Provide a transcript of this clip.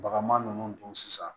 Bagama ninnu don sisan